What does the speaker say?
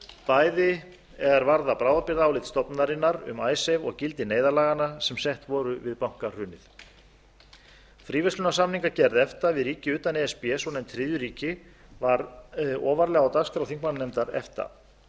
bæði er varða bráðabirgðaálit stofnunarinnar um icesave og gildi neyðarlaganna sem sett voru við bankahrunið fríverslunarsamningagerð efta við ríki utan e s b svonefnd þriðju ríki var ofarlega á dagskrá þingmannanefndar efta